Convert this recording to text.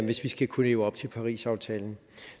hvis vi skal kunne leve op til parisaftalen